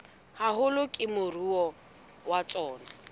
haholo ke moruo wa tsona